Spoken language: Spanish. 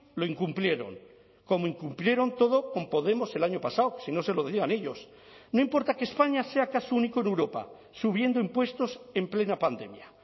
lo incumplieron como incumplieron todo con podemos el año pasado si no se lo digan ellos no importa que españa sea caso único en europa subiendo impuestos en plena pandemia